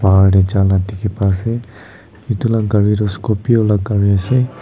bahar tae jala dikhi paase edu la gari toh scorpio la gari ase.